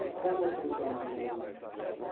E quando você entrou no Regina Mundi?